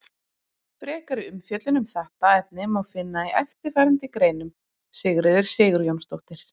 Frekari umfjöllun um þetta efni má finna í eftirfarandi greinum: Sigríður Sigurjónsdóttir.